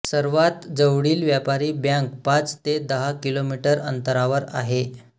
सर्वात जवळील व्यापारी बँक पाच ते दहा किलोमीटर अंतरावर आहे